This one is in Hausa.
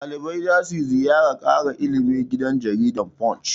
Ɗalibai za su ziyarar ƙara ilimi gidan jaridar Punch.